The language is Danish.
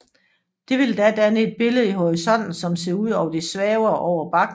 Det vil da danne et billede i horisonten som ser ud som om det svæver over bakken